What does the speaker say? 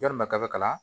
Yalima kaba kala